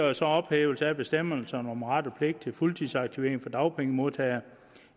er så ophævelse af bestemmelserne om ret og pligt til fuldtidsaktivering for dagpengemodtagere